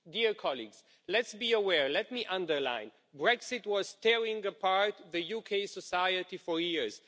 Dear colleagues let's be aware let me underline that Brexit was tearing apart the UK society for years.